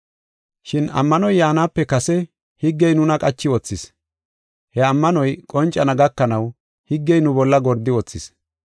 Shin ammanoy yaanape kase higgey nuna qachi wothis. He ammanoy qoncana gakanaw higgey nu bolla gordi wothis.